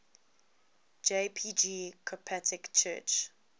jpg coptic church